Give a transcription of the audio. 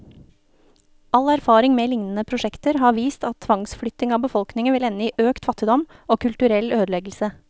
All erfaring med lignende prosjekter har vist at tvangsflytting av befolkningen vil ende i økt fattigdom, og kulturell ødeleggelse.